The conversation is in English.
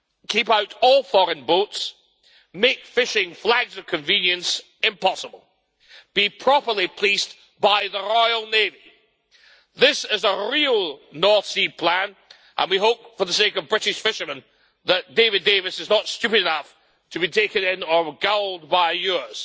Keep out all foreign boats, make fishing flags of convenience impossible, be properly policed by the Royal Navy this is a real North Sea plan, and we hope for the sake of British fishermen that David Davis is not stupid enough to be taken in or gulled by yours.